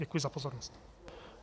Děkuji za pozornost.